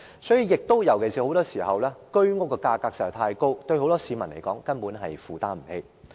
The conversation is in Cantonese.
所以，很多時候，居屋價格實在太高，很多市民根本無法負擔。